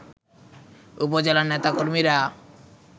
উপজেলার নেতাকর্মীরা